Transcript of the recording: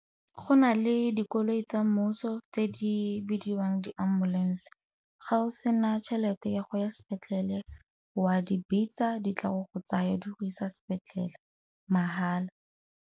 Go na le dikoloi tsa mmuso tse di bidiwang di-ambulance-e. Ga o sena tšhelete ya go ya sepetlele wa di bitsa ditla go go tsaya di go isa sepetlele mahala.